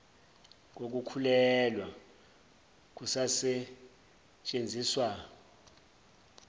kokukhulelwa kusasetshen ziswa